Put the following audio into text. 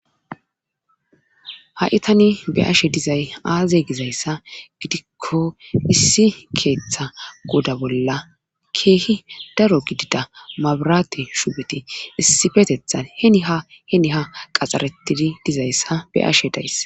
Ha7i tani be ashe dizay aaze gizayssa gidikko issi keeththa goda bolla keehi daro gidida mabaraate shubeti issifetethan heni ha heni ha qaxxaretidi dizayssa be ashe dayss.